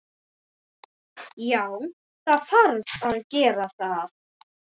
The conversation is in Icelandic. Já, það þarf að gera það.